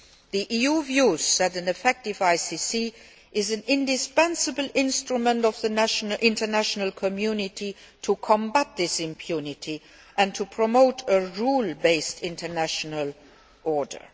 The EU considers that an effective ICC is an indispensable instrument for the international community to combat this impunity and to promote a rule based international order.